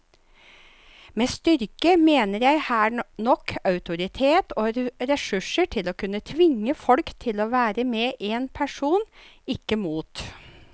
Med styrke mener jeg her nok autoritet og ressurser til å kunne tvinge folk til å være med en person, ikke mot.